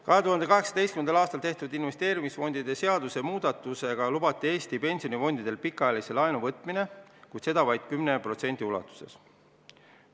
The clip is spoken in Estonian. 2018. aastal tehtud investeerimisfondide seaduse muutmisega lubati Eesti pensionifondidel pikaajalist laenu võtta, kuid seda vaid 10% ulatuses vara väärtusest.